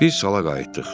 Biz sala qayıtdıq.